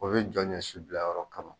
O bɛ jɔ ɲɔ si bila yɔrɔ kɔnɔ.